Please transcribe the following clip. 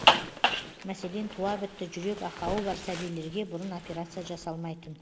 мәселен туа бітті жүрек ақауы бар сәбилерге бұрын операция жасалмайтын